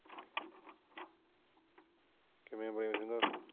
ਕਿਵੇ ਭਾਈ ਰੋਮਾ?